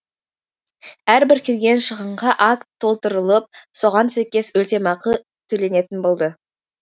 әрбір келген шығынға акт толтырылып соған сәйкес өтемақы төленетін болды